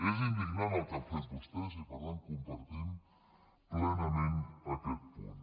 és indignant el que han fet vostès i per tant compartim plenament aquest punt